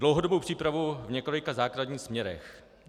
Dlouhodobou přípravu v několika základních směrech.